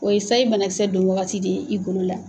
O ye sayi banakisɛ don wagati de ye i golo la.